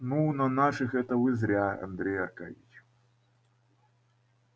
ну на наших это вы зря андрей аркадьич